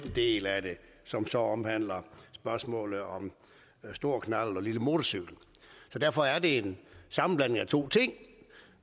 del af det som så omhandler spørgsmålet om stor knallert og lille motorcykel derfor er det en sammenblanding af to ting